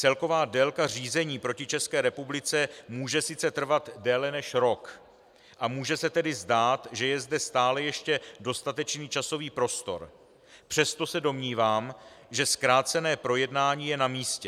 Celková délka řízení proti České republice může sice trvat déle než rok a může se tedy zdát, že je zde stále ještě dostatečný časový prostor, přesto se domnívám, že zkrácené projednání je na místě.